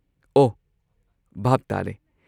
ꯑꯣ, ꯚꯥꯞ ꯇꯥꯔꯦ꯫